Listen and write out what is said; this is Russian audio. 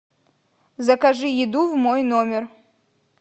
закажи еду в мой номер